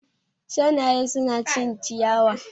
Shanaye su na cin ciyawa